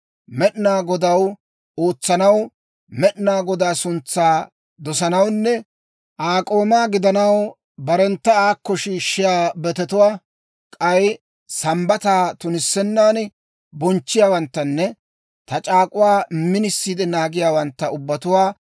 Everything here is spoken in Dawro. Med'inaa Godaw ootsanaw, Med'inaa Godaa suntsaa dosanawunne Aa k'oomaa gidanaw, barentta aakko shiishshiyaa betetuwaa, k'ay Sambbataa tunissennan bonchchiyaawanttanne ta c'aak'uwaa minisiide naagiyaawantta ubbatuwaa